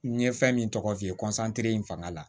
N ye fɛn min tɔgɔ f'i ye in fanga la